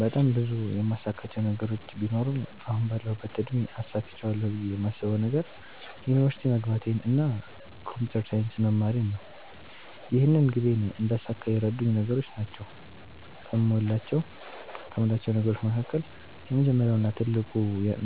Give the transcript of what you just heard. በጣም ብዙ የማሳካቸው ነገሮች ቢኖሩም አሁን ባለሁበት እድሜ አሳክቸዋለሁ ብየ የማስበዉ ነገር ዩኒቨርሲቲ መግባቴን እና ኮንፒተር ሳይንስ መማሬን ነው። ይህንን ግቤን እንዳሳካ የረዱኝ ነገሮች ናቸዉ ከሞላቸው ነገሮች መካከል የመጀመሪያው እና ትልቁ